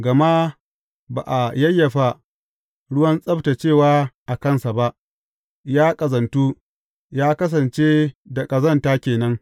Gama ba a yayyafa ruwan tsabtaccewa a kansa ba; ya ƙazantu, ya kasance da ƙazanta ke nan.